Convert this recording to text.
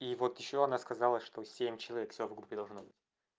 и вот ещё она сказала что семь человек всё в группе должно быть